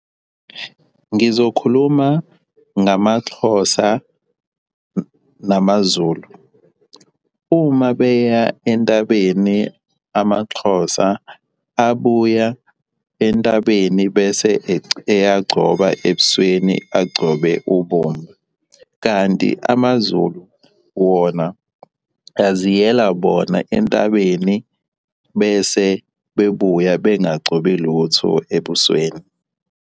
Ngizokhuluma ngamaXhosa namaZulu. Uma beya entabeni amaXhosa abuya entabeni bese eyagcoba ebusweni agcobe ubomvu, kanti amaZulu wona aziyela bona entabeni bese bebuya bengagcobi lutho ebusweni.